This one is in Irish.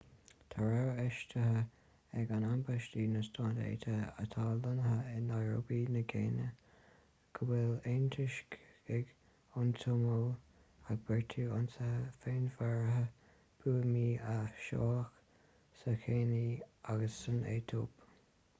tá rabhadh eisithe ag ambasáid na stát aontaithe atá lonnaithe i nairobi na céinia go bhfuil antoiscigh ón tsomáil ag beartú ionsaithe féinmharaithe buamaí a sheoladh sa chéinia agus san aetóip